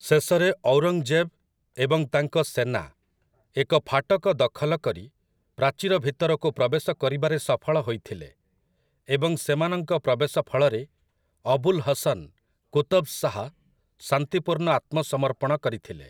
ଶେଷରେ ଔରଙ୍ଗଜେବ୍ ଏବଂ ତାଙ୍କ ସେନା ଏକ ଫାଟକ ଦଖଲ କରି ପ୍ରାଚୀର ଭିତରକୁ ପ୍ରବେଶ କରିବାରେ ସଫଳ ହୋଇଥିଲେ ଏବଂ ସେମାନଙ୍କ ପ୍ରବେଶ ଫଳରେ ଅବୁଲ୍ ହସନ୍ କୁତବ୍ ଶାହ୍ ଶାନ୍ତିପୂର୍ଣ୍ଣ ଆତ୍ମସମର୍ପଣ କରିଥିଲେ ।